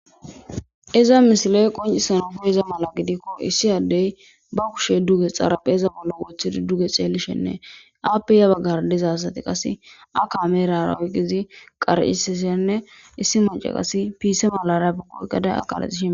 iza misile qoncisan koyiza mala gidikko issi addey ba kushe duge xaraphe iza bollo woththidi duge xeelishenne aappeya baggar dezasati qase akaamerarawqizi qarcisishenne issi mace qas piise malara paqoegada aqalaihie